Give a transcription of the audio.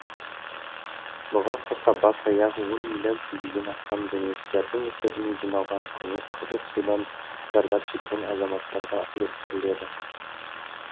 бұған қоса бас аяғы он миллион теңгеден астам демеушілердің есебінен жиналған көмек қызыл судан зардап шеккен азаматтарға үлестіріледі